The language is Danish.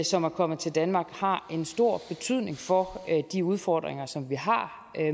som er kommet til danmark har en stor betydning for de udfordringer som vi har